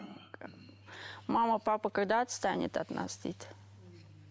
мама папа когда отстанет от нас дейді